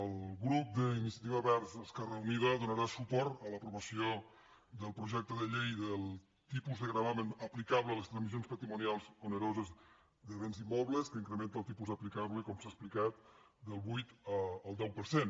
el grup d’iniciativa verds esquerra unida donarà suport a l’aprovació del projecte de llei del tipus de gravamen aplicable a les transmissions patrimonials oneroses de béns immobles que incrementa el tipus aplicable com s’ha explicat del vuit al deu per cent